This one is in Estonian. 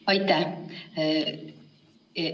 Aitäh!